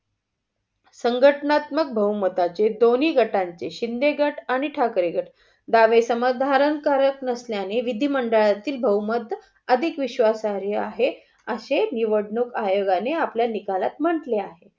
संगथनात्मक बहुमतांचे दोन्ही गटांचे शिंदे गट आणि ठाकरे गट दावे करत नसल्याने विधी मंडळतील बहुमत अधिक विश्वासधार्य आहे अशे निवडणूक आयोगाने आपल्या निकालात म्हंटले आहे.